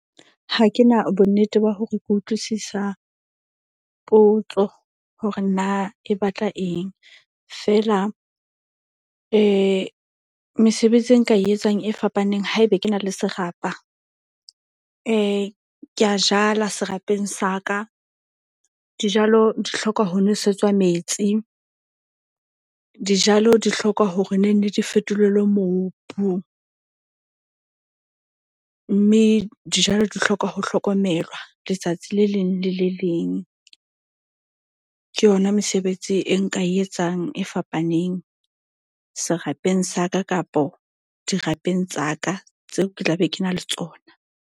Ha ke na bonnete ba hore ke utlwisisa potso hore na e batla eng. Feela mesebetsi e nka e etsang e fapaneng haebe ke na le serapa. Ke a jala serapeng sa ka. Dijalo di hloka ho nwesetswa metsi, dijalo di hloka hore nenne di fetolelwe mobu. Mme dijalo di hloka ho hlokomelwa letsatsi le leng le le leng. Ke yona mesebetsi e nka e etsang e fapaneng serapeng sa ka kapo dirapeng tsa ka tseo ke tla be ke na le tsona.